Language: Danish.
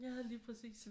Ja lige præcis